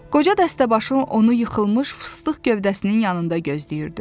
Qoca dəstəbaşı onu yıxılmış fıstıq gövdəsinin yanında gözləyirdi.